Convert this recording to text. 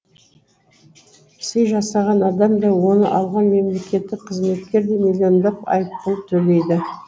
сый жасаған адам да оны алған мемлекеттік қызметкер де миллиондап айыппұл төлейді